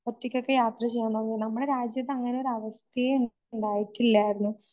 ഒറ്റയ്കൊക്കെ യാത്ര നമ്മടെ രാജ്യത്ത് അങ്ങനെയൊരവസ്ഥയെ ഉണ്ടായിട്ടില്ലായിരുന്നു.